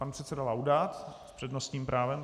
Pan předseda Laudát s přednostním právem.